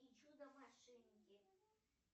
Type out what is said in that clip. и чудо машинки